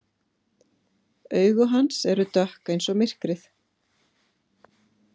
Augu hans eru dökk eins og myrkrið.